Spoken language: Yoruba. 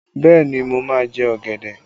Bẹẹ ni, mo máa jẹ ọ̀gẹ̀dẹ̀